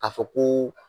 Ka fɔ ko